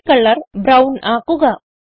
ഫിൽ colour brown ആക്കുക